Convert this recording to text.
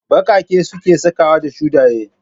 Ɓaƙaƙe suke sakawa ko shuɗaye